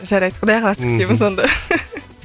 жарайды құдай қаласа мхм күтеміз онда